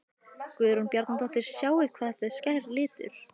Guðrún Bjarnadóttir: Sjáið hvað þetta er skær litur?